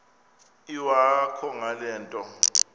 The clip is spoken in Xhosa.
iwakho ngale nto